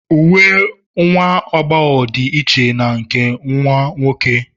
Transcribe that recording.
Uwe nwa agbọghọ dị iche na nke ụmụ nwoke